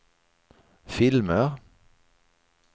filmer